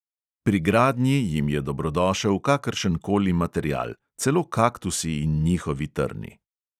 Pri gradnji jim je dobrodošel kakršenkoli material, celo kaktusi in njihovi trni.